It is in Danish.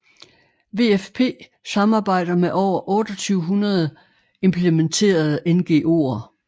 WFP samarbejder med over 2800 implementerende NGOer